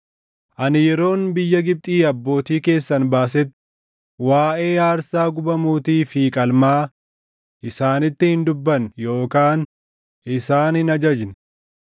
Ani yeroon biyya Gibxii abbootii keessan baasetti waaʼee aarsaa gubamuutii fi qalmaa isaanitti hin dubbanne yookaan isaan hin ajajne;